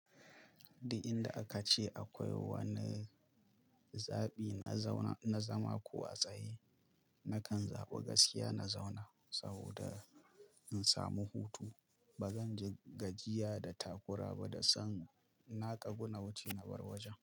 Duk, inda aka ce akwai wani zaɓi na zauna, na zama ko a tsaye, nakan zaɓi gaskiya na zauna saboda in samu hutu. Ba zan ji gajiya da takura ba da san na ƙaguna wuce na bar wajen.